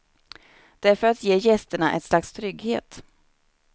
Det är för att ge gästerna ett slags trygghet.